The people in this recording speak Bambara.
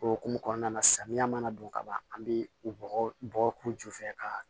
O hokumu kɔnɔna na samiya mana don ka ban an be bɔgɔ k'u ju fɛ ka